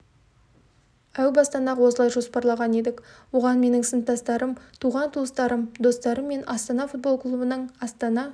әу бастан-ақ осылай жоспарлаған едік оған менің сыныптастарым туған-туыстарым достарым мен астана футбол клубының астана